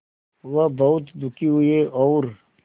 वह बहुत दुखी हुए और